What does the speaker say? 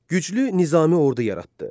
Güclü nizami ordu yaratdı.